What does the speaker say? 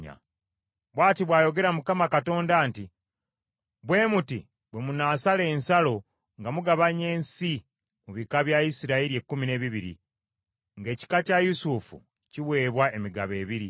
Bw’ati bw’ayogera Mukama Katonda nti, “Bwe muti bwe munaasala ensalo nga mugabanya ensi mu bika bya Isirayiri ekkumi n’ebibiri, ng’ekika kya Yusufu kiweebwa emigabo ebiri.